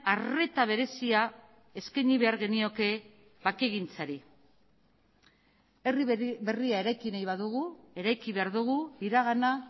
arreta berezia eskaini behar genioke bakegintzari herri berria eraiki nahi badugu eraiki behar dugu iragana